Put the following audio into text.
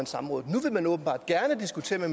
samrådet nu vil man åbenbart gerne diskutere